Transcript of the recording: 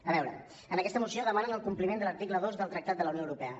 a veure en aquesta moció demanen el compliment de l’article dos del tractat de la unió europea